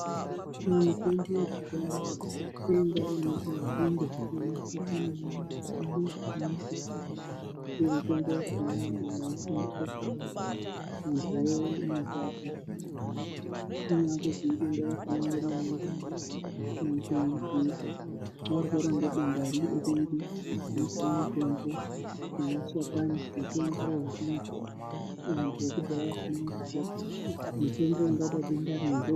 Mitombo yekudhaya yaiya yenzinde nemashakani emimbiti ndiyo mitombo yakona yaishandiswa .....nedenda riri nemashakani mutombo .....